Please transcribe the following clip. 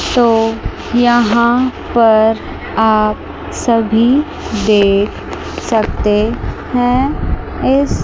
तो यहां पर आप सभी देख सकते हैं इस--